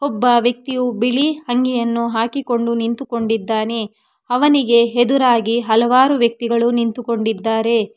ಒಬ್ಬ ವ್ಯಕ್ತಿಯು ಬಿಳಿ ಅಂಗಿಯನ್ನು ಹಾಕಿಕೊಂಡು ನಿಂತುಕೊಂಡಿದ್ದಾನೆ ಅವನಿಗೆ ಎದುರಾಗಿ ಹಲವಾರು ವ್ಯಕ್ತಿಗಳು ನಿಂತುಕೊಂಡಿದ್ದಾರೆ.